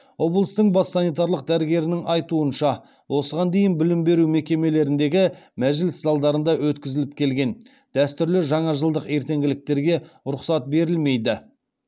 облыстың бас санитарлық дәрігерінің айтуынша осыған дейін білім беру мекемелеріндегі мәжіліс залдарында өткізіліп келген дәстүрлі жаңажылдық ертеңгіліктерге рұқсат берілмейді